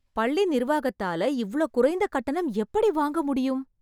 பள்ளி நிர்வாகத்தால இவ்ளோ குறைந்த கட்டணம் எப்படி வாங்க முடியும்!